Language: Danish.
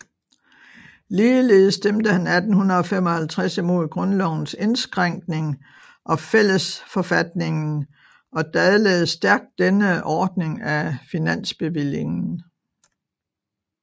Ligeledes stemte han 1855 imod grundlovens indskrænkning og fællesforfatningen og dadlede stærkt dennes ordning af finansbevillingen